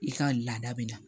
I ka laada bɛ na